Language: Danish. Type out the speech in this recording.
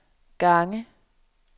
gange